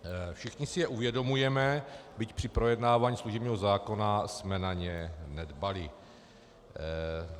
Všichni se je uvědomujeme, byť při projednávání služebního zákona jsme na ně nedbali.